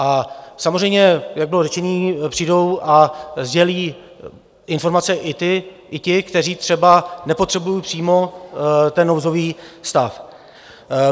A samozřejmě, jak bylo řečeno, přijdou a sdělí informace i ti, kteří třeba nepotřebují přímo ten nouzový stav.